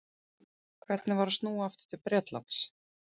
Hvernig var að snúa aftur til Bretlands?